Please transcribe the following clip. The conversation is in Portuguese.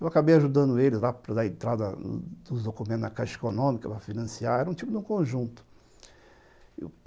Eu acabei ajudando eles lá para dar a entrada dos documentos na caixa econômica para financiar, era um tipo de um conjunto.